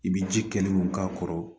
I bɛ ji kɛlenw k'a kɔrɔ